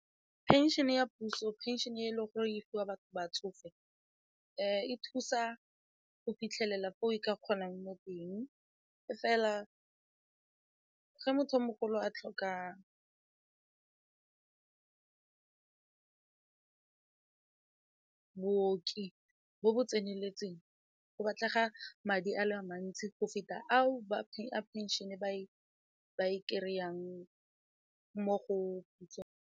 Pension-e ya puso, pension-e e leng gore e fiwa batho batsofe e thusa go fitlhelela fo e ka kgonang mo teng e fela ge motho o mogolo a tlhokang booki bo bo tseneletseng go batlega madi a le mantsi go feta ao ba pension-e ba kry-ang mo go pusong.